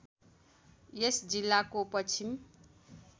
यस जिल्लाको पश्चिम